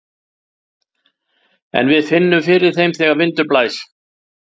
En við finnum fyrir þeim þegar vindur blæs.